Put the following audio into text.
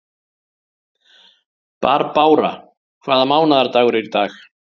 Barbára, hvaða mánaðardagur er í dag?